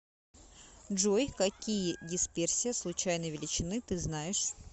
джой какие дисперсия случайной величины ты знаешь